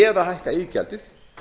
eða hækka iðgjaldið